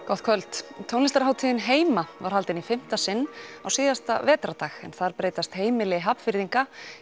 gott kvöld tónlistarhátíðin heima var haldin í fimmta sinn á síðasta vetrardag en þar breytast heimili Hafnfirðinga